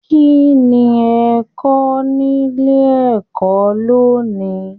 Kínní ẹ kọ nílé ẹ̀kọ́ lóni?